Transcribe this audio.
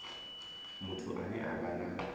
muthu ane a vha na